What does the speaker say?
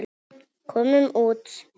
Komum út.